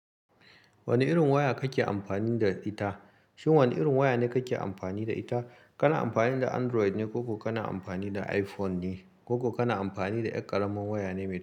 Wane irin waya kake amfani da ita? Shin wane irin waya ne kake amfani da ita? Kana amfani da Android ne ko kuma kana amfani da iPhone ne? Ko kuma kana amfani da ƙaramin waya ne mai.